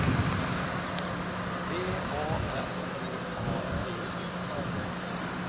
V A N U A T U